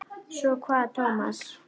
Svo kvað Tómas.